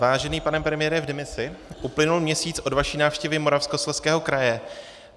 Vážený pane premiére v demisi, uplynul měsíc od vaší návštěvy Moravskoslezského kraje.